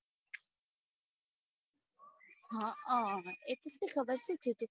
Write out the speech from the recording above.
હ અ ઈ તો